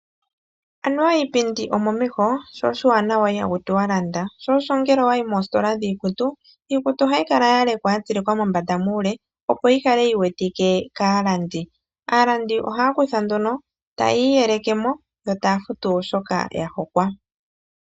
Anuwa iipindi omomeho, sho oshiwanawa iha kutiwa landa sho osho ngele owayi moositola dhiikutu iikutu ohayi kala ya lekwa yatsilikwa mombanda muule opo yi kale yi wetike kaalandi . Aalandi oha ya kutha nduno ta ya iyelekemo yo taya futu shoka ya hokwa.